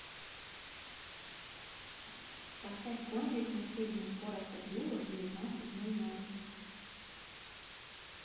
поставь кондик на среднюю скорость обдува в девятнадцать ноль ноль